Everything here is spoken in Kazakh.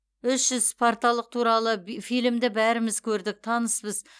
үш жүз спарталық туралы фильмді бәріміз көрдік таныспыз